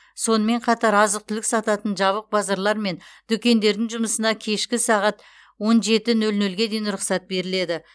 сонымен қатар азық түлік сататын жабық базарлар мен дүкендердің жұмысына кешкі сағат он жеті нөл нөлге дейін рұқсат беріледі